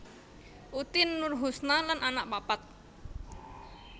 Utin Nurhusna lan anak papat